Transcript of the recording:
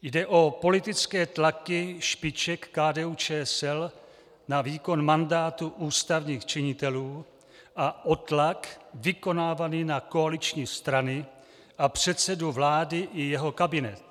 Jde o politické tlaky špiček KDU-ČSL na výkon mandátu ústavních činitelů a o tlak vykonávaný na koaliční strany a předsedu vlády i jeho kabinet.